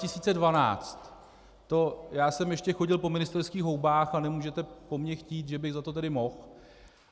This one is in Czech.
To já jsem ještě chodil po ministerských houbách a nemůžete po mně chtít, že bych za to tedy mohl.